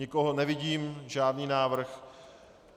Nikoho nevidím, žádný návrh.